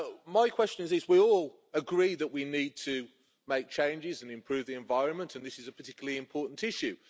My question is this we all agree that we need to make changes and improve the environment, and this is a particularly important issue.